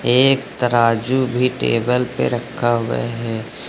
एक तराजू भी टेबल पे रखा हुआ है।